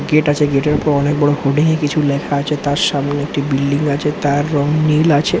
Gate আছে gate -এর উপর অনেক বড় হোডিং কিছু লেখা আছে তার সামনে একটি বিল্ডিং আছে তার রং নীল আছে।